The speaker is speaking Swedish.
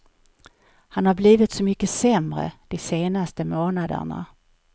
Han har blivit så mycket sämre de senaste månaderna.